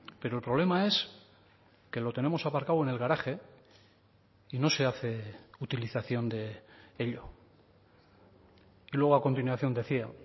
pero el problema es que lo tenemos aparcado en el garaje y no se hace utilización de ello y luego a continuación decía